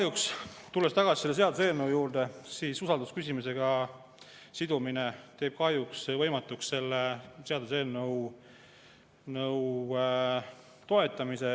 Aga tulles tagasi selle seaduseelnõu juurde, usaldusküsimusega sidumine teeb kahjuks võimatuks selle seaduseelnõu toetamise.